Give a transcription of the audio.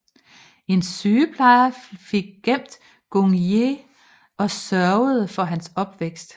En sygeplejer fik gemt Gung Ye og sørgede for hans opvækst